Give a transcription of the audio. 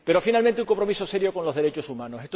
Finalmente, un compromiso serio con los derechos humanos.